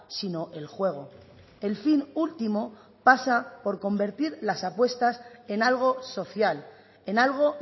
sino el juego el fin último pasa por convertir las apuestas en algo social en algo